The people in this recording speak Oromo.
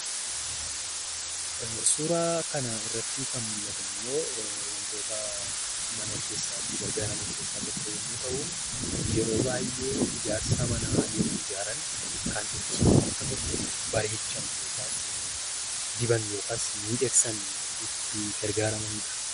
Suuraa kana irratti kan mul'atu immoo, waantota mana keessatti itti gargaaraman keessaa tokko yemmuu ta'u, yeroo baayyee ijaarsa manaa yeroo ijaaran kan ittiin waanta tokko bareechan yookaas diban, yookaas miidhagsan itti gargaaramanidha.